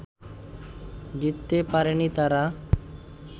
জিততে পারেনি তারা